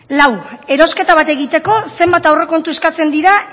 lau erosketa bat egiteko zenbat aurrekontu eskatzen dira